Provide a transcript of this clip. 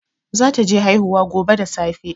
Zata je haihuwa gobe da safe